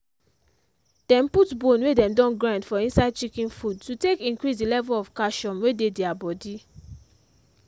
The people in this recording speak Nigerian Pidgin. dem put bone wey dem don grind for inside chicken food to take increase the level of calcium wey dey their body.